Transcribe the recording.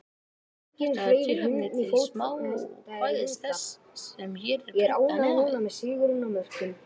Þetta er tilefni til smákvæðis þess, sem hér er prentað neðan við.